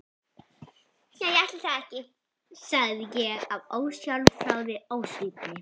Já ætli það ekki, sagði ég af ósjálfráðri ósvífni.